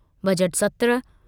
budget सत्र